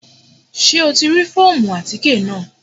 Ṣé o ti rí fóòmù àtíkè náà?